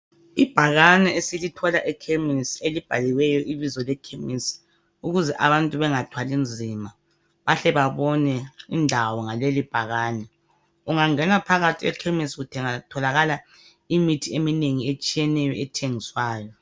Ibhakane esilithola ekhemisi elibhaliweyo ibizo lekhemisi ukuze abantu bengathwalinzima bahle babone indawo ngalelibhakane. Ungangena phakathi ekhemisi kutholakala imithi eminengi ethengiswayo.